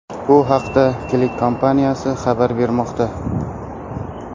Bu haqda CLICK kompaniyasi xabar bermoqda .